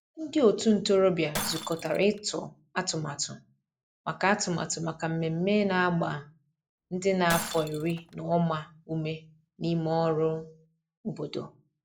ndi otu ntorobia zukotara itu atụmatụ maka atụmatụ maka mmeme na agba ndi n'afo iri na uma ume n'ime ọrụ obodo.